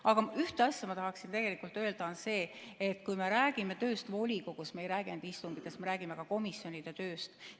Aga ühte asja ma tahaksin öelda ja see on see, et kui me räägime tööst volikogus, siis me ei räägi ainult istungitest, vaid me räägime ka komisjonide tööst.